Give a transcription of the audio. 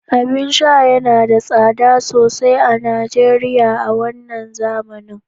abin sha yana da tsada sosai a Najeriya a wannan zamanin